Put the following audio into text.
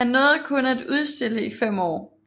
Han nåede kun at udstille i fem år